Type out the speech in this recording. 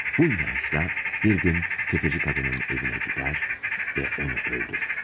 Bu inançla bir gün tefeci kadının evine gider ve onu öldürür.